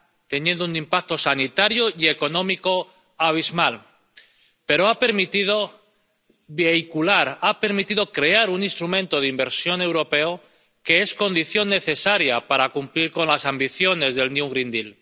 teniendo un impacto sanitario y económico abismal, pero ha permitido vehicular, ha permitido crear un instrumento europeo de inversión que es condición necesaria para cumplir con las ambiciones del New Green Deal